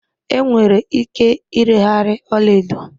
Enwere ike ireghari ọla edo